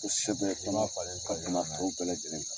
U sɛbɛn bɛɛ lajɛlen